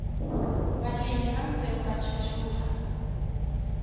balemi ba ntseng ba thuthuha